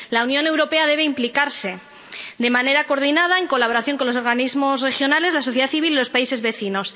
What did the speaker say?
La Unión Europea debe implicarse, de manera coordinada en colaboración con los organismos regionales, la sociedad civil y los países vecinos.